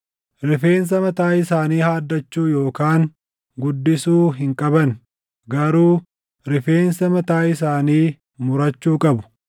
“ ‘Rifeensa mataa isaanii haaddachuu yookaan guddisuu hin qaban; garuu rifeensa mataa isaanii murachuu qabu.